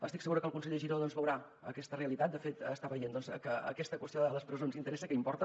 estic segura que el conseller giró doncs veurà aquesta realitat de fet està veient que aquesta qüestió de les presons interessa que importa